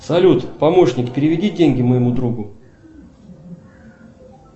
салют помощник переведи деньги моему другу